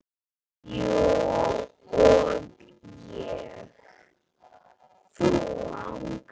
Þú og ég.